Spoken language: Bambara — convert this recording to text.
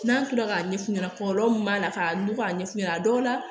N'an kila k'a ɲɛf'u ɲɛna kɔlɔlɔ min b'a la k'a ɲugu k'a ɲɛ f'u ɲɛna a dɔw la